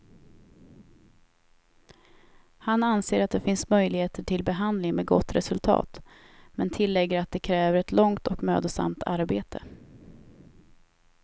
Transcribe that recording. Han anser att det finns möjligheter till behandling med gott resultat, men tillägger att det kräver ett långt och mödosamt arbete.